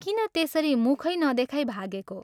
किन त्यसरी मुखै नदेखाई भागेको?